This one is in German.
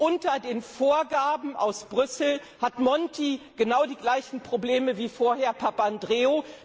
Unter den Vorgaben aus Brüssel hat Monti genau die gleichen Probleme wie vorher Papandreou.